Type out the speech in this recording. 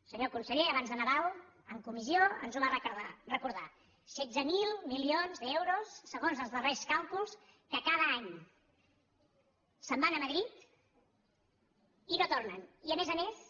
el senyor conseller abans de nadal en comissió ens ho va recordar setze mil milions d’euros segons els darrers càlculs que cada any se’n van a madrid i que no tornen i que a més a més